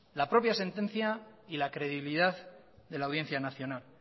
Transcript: la propia sentencia y la credibilidad de la audiencia nacional